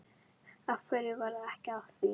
Af hverju varð ekki af því?